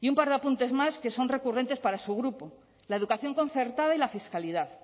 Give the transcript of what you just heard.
y un par de apuntes más que son recurrentes para su grupo la educación concertada y la fiscalidad